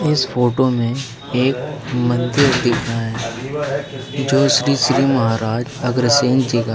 इस फोटो में एक मंदिर दिखा है जो श्री श्री महाराज अगरसिंह जी का है।